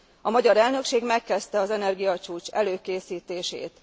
A magyar elnökség megkezdte az energiacsúcs előkészítését.